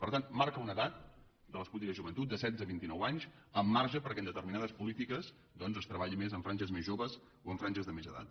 per tant marca una edat de les polítiques de joventut de setze a vint i nou anys amb marge perquè en determinades polítiques doncs es treballi més amb franges més joves o amb franges de més edat